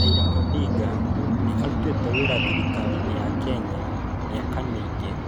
Raila Odinga nĩ arutĩte wĩra thirikari-inĩ ya Kenya mĩaka mĩingĩ.